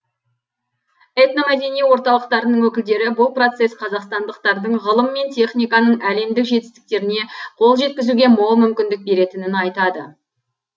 этномәдени орталықтарының өкілдері бұл процесс қазақстандықтардың ғылым мен техниканың әлемдік жетістіктеріне қол жеткізуге мол мүмкіндік беретінін айтады